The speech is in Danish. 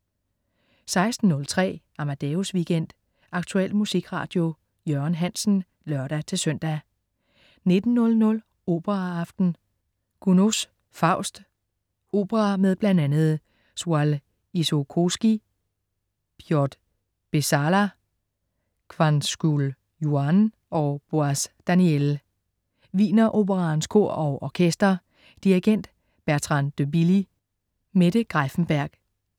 16.03 Amadeus Weekend. Aktuel musikradio. Jørgen Hansen (lør-søn) 19.00 Operaaften. Gounods Faust. Opera med bl.a. Soile Isokoski, Piotr Beczala, Kwangchul Youn og Boaz Daniel. Wiener Operaens Kor og Orkester. Dirigent: Bertrand de Billy. Mette Greiffenberg